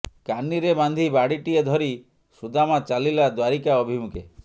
କାନିରେ ବାନ୍ଧି ବାଡ଼ିଟିଏ ଧରି ସୁଦାମା ଚାଲିଲା ଦ୍ୱାରିକା ଅଭିମୁଖେ